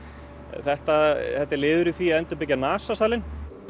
þetta þetta er liður í því að endurbyggja NASA salinn